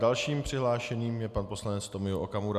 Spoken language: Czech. Dalším přihlášeným je pan poslanec Tomio Okamura.